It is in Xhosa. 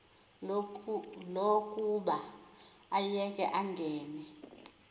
lokuba ayeke angene